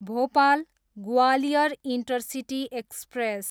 Bhopal, Gwalior intercity express